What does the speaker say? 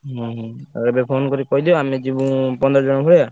ହୁଁ ହୁଁ ଏବେ phone କହିଦିଅ ଆମେ ଯିବୁ ପନ୍ଦର ଜଣ ଭଳିଆ।